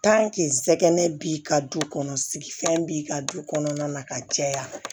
bi ka du kɔnɔ sigifɛn b'i ka du kɔnɔna na ka caya